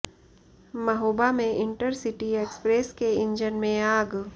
महोबा में intercity express के engine में आग